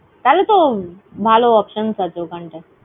থালে তো ভালো । options আছে ওখান টায়।